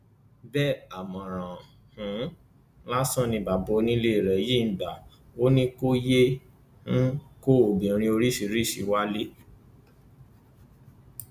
bẹẹ àmọràn um lásán ni bàbá onílé rẹ yìí gbà á ò ní kò yéé um kó obìnrin oríṣiríṣiì wálé